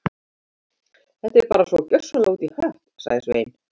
Þetta er bara svo gjörsamlega út í hött- sagði Svein